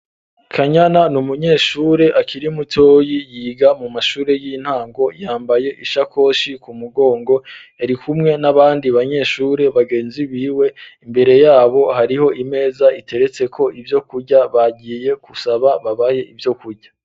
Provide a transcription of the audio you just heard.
Kanyana ni umunyeshure akiri mutoyi yiga mu mashure y'intango yambaye ishakoshi ku mugongo arikumwe n'abandi banyeshure bagenzi biwe, imbere yabo hariho imeza iteretseko ivyo kurya bagiye gusaba babahe ivyo kurya.